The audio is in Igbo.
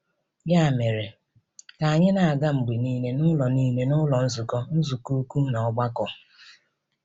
Ya mere, ka anyị na-aga mgbe niile n’ụlọ niile n’ụlọ nzukọ, nzukọ ukwu, na ọgbakọ.